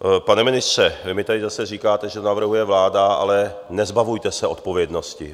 Pane ministře, vy mi tady zase říkáte, že navrhuje vláda, ale nezbavujte se odpovědnosti.